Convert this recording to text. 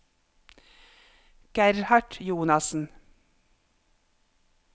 Gerhard Jonassen